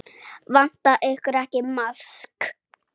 Vantar ykkur ekki maðk?